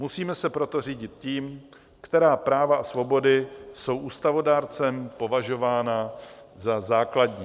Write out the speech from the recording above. Musíme se proto řídit tím, která práva a svobody jsou ústavodárcem považována za základní.